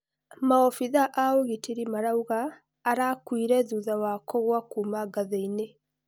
Maobitha a ũgitĩri marauga arakuire thutha wa kũgwa kuuma ngathĩinĩ.